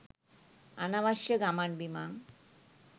අනවශ්‍ය ගමන් බිමන්